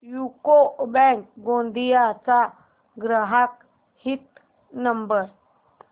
UCO bank Gondia चा ग्राहक हित नंबर